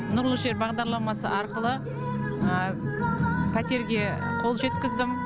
нұрлы жер бағдарламасы арқылы пәтерге қол жеткіздім